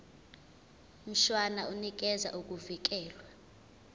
mshwana unikeza ukuvikelwa